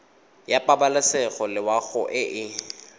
ya pabalesego loago e e